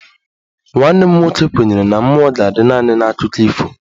Nwanne m nwoke kwenyere na mmụọ ga-adị naanị n'akụkọ ifo